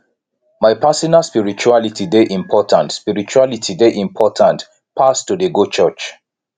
my personal spirituality dey important spirituality dey important pass to dey go church